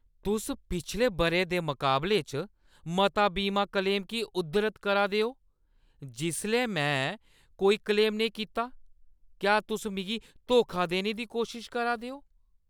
तुस पिछले बʼरे दी मकाबले च मता बीमा क्लेम की उद्धरत करा दे ओ जिसलै में कोई क्लेम नेईं कीता ? क्या तुस मिगी धोखा देने दी कोशश करा दे ओ?